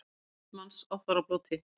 Þúsund manns á þorrablóti